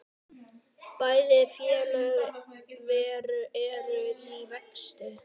Bæði félög eru í vexti.